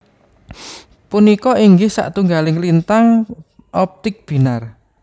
Punika inggih satunggaling lintang optik binar